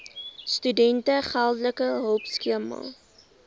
studente geldelike hulpskema